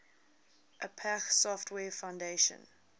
apache software foundation